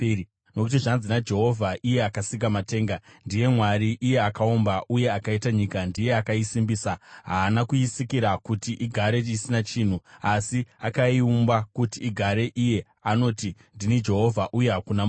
Nokuti zvanzi naJehovha, iye akasika matenga, ndiye Mwari; iye akaumba uye akaita nyika, ndiye akaisimbisa; haana kuisikira kuti igare isina chinhu, asi akaiumba kuti igarwe, anoti: “Ndini Jehovha, uye hakuna mumwe.